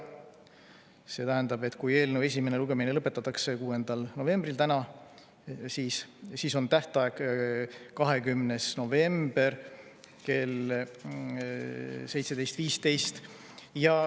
See tähendab, et kui eelnõu esimene lugemine lõpetatakse 6. novembril, täna, siis on tähtaeg 20. novembril kell 17.15.